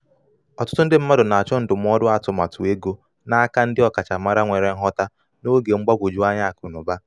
ọtụtụ ndị mmadụ na-achọ ndụmọdụ atụmatụ ego n'aka ndị ọkachamara nwere nghota n’oge mgbagwoju anya akụ na ụba. ụba.